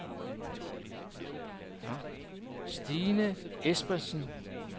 Stine Esbensen